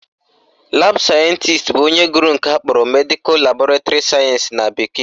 Laabụ sayentisi bụ onye gụrụ nke akpọrọ Medical Laboratory Science na bekee